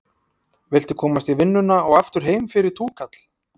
Viltu komast í vinnuna og aftur heim fyrir túkall?